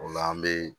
O la an bɛ